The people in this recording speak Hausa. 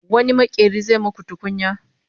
wani maƙeri zai maku tukunya?